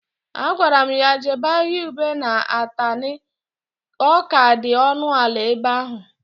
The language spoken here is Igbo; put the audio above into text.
A gwara m ya jebe ahịa ube na Atani, ọ ka dị ọnụ ala ebe ahụ